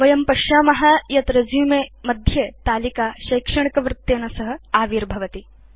वयं पश्याम यत् रेसुमे मध्ये तालिका शैक्षणिकवृत्तेन सह आविर्भवति